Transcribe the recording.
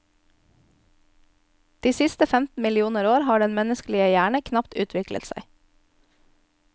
De siste femten millioner år har den menneskelige hjerne knapt utviklet seg.